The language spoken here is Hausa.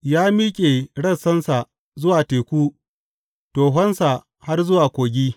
Ya miƙe rassansa zuwa Teku tohonsa har zuwa Kogi.